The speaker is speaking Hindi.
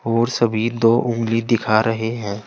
और सभी दो उंगली दिखा रहे हैं।